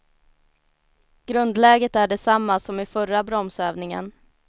Grundläget är detsamma som i förra bromsövningen.